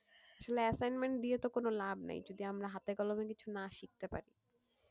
আসলে assignment দিয়ে তো কোন লাভ নেই যদি আমরা হাতে কলমে কিছু না শিখতে পারি।